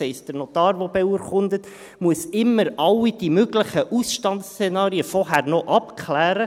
Das heisst: Der Notar, der beurkundet, muss immer alle diese möglichen Ausstandszenarien vorher noch abklären.